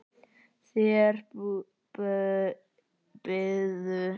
Þær biðu.